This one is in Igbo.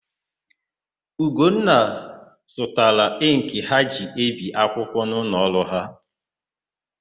Ugonna zụtara ịnkị ha ji ebi akwụkwọ n'ụlọọrụ ha.